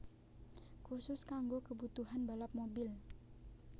Khusus kanggo kebutuhan balap mobil